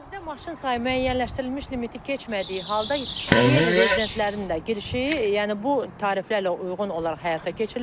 Ərazidə maşın sayı müəyyənləşdirilmiş limiti keçmədiyi halda qeyri-rezidentlərin də girişi, yəni bu tariflərlə uyğun olaraq həyata keçiriləcək.